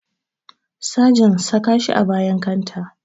Sagen saka shi a bayan kanta